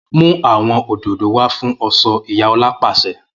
Mu awọn ódódò wá fun ọṣọ Iya Ola paṣẹ!